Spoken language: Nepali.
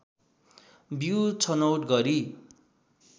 बीउ छनौट गरी